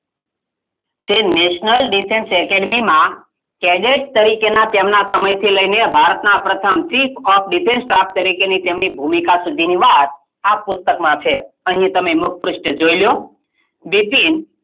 જે national defence academy માં caded તરીકેના તેમનાં સમયથી લઈને ભારતના પ્રથમ seek of defence staff તેમની ભૂમિકા સુધીની વાત આ પુસ્તકમાં છે અહીં તમે મુખપ્રુષ્ઠ જોઈ લો બિપિન,